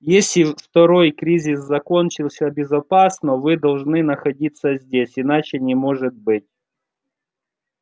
если второй кризис закончился безопасно вы должны находиться здесь иначе не может быть